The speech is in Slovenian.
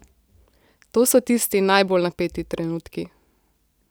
To so tisti najbolj napeti trenutki.